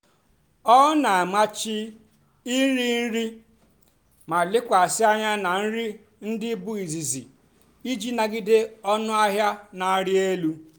ọ́ nà-àmàchì nrì nrì mà lèkwàsị́ ànyá nà nrì ndí bụ́ ízìzì ìjì nàgìdé ónú àhịá nà-àrị́ èlú.